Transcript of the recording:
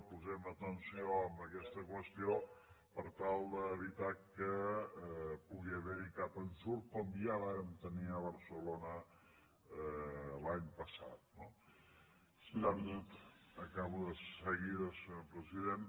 posem atenció a aquesta qüestió per tal d’evitar que pugui haver hi cap ensurt com ja vàrem tenir a barcelona l’any passat no acabo de seguida senyor president